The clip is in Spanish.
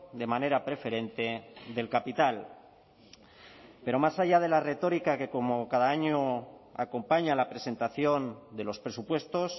de manera preferente del capital pero más allá de la retórica que como cada año acompaña a la presentación de los presupuestos